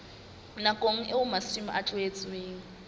nakong eo masimo a tlohetsweng